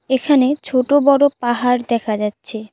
এখানে ছোট বড় পাহাড় দেখা যাচ্ছে।